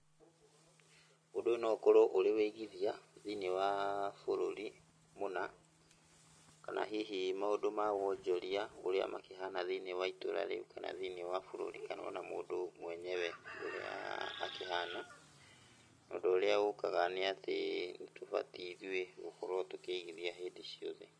Ũndũ ũyũ no ũkorwo ũrĩ ũigithia thĩiniĩ wa bũrũri mũna kana hihi maũndũ ma wonjoria ũrĩa makĩhana thĩiniĩ wa itũũra rĩu kana thĩiniĩ wa bũrũri kana ona mũndũ mwenyewe ũrĩa akĩhana tondũ ũrĩa ũkaga nĩ atĩ tũtibatiĩ ithuĩ gũkorwo tũkĩigithia hĩndĩ ciothe.